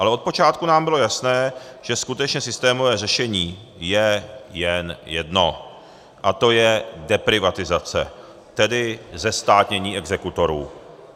Ale od počátku nám bylo jasné, že skutečně systémové řešení je jen jedno, a to je deprivatizace, tedy zestátnění exekutorů.